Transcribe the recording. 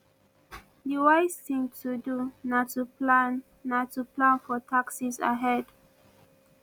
di wise thing to do na to plan na to plan for taxes ahead